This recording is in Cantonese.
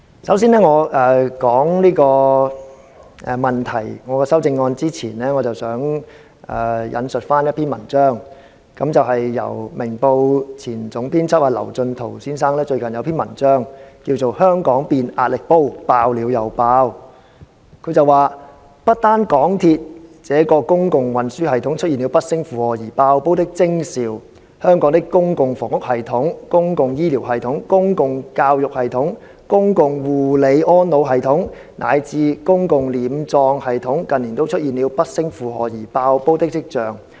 首先，在我談論這個問題及我的修正案前，我想先引述一篇文章，是《明報》前總編輯劉進圖先生最近一篇名為"香港變壓力煲，爆了又爆"的文章，他說："不單港鐵這個公共運輸系統出現了不勝負荷而'爆煲'的徵兆，香港的公共房屋系統、公共醫療系統、公共教育系統、公共護理安老系統，乃至公共殮葬系統，近年都出現了不勝負荷而'爆煲'的跡象。